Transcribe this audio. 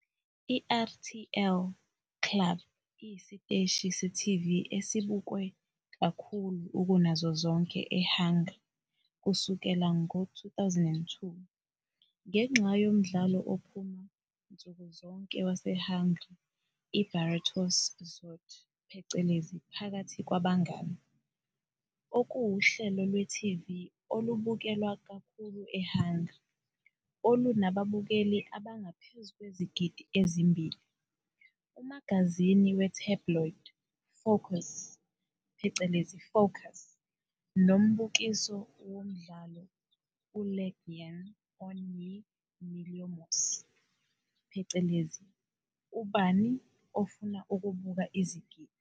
I-RTL Klub iyisiteshi se-TV esibukwe kakhulu kunazo zonke eHungary kusukela ngo-2002, ngenxa "yomdlalo ophuma" nsuku zonke waseHungary iBarátok közt, Phakathi Kwabangane, okuwuhlelo lwe-TV olubukelwa kakhulu eHungary olunababukeli abangaphezu kwezigidi ezimbili, umagazini we-tabloid "Fókusz", Focus, nombukiso womdlalo "uLegyen Ön yi-milliomos", "Ubani Ofuna Ukuba usozigidi?"